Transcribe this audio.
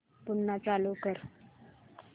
पुन्हा चालू कर